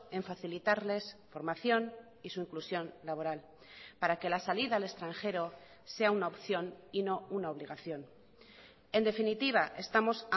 en facilitarles formación y su inclusión laboral para que la salida al extranjero sea una opción y no una obligación en definitiva estamos